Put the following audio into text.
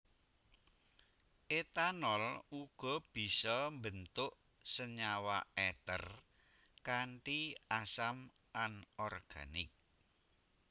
Etanol uga bisa mbentuk senyawa eter kanthi asam anorganik